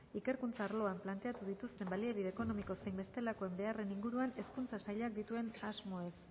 ikerkuntza arloan planteatu dituen baliabide ekonomiko zein bestelakoen beharren inguruan hezkuntza sailak dituen asmoez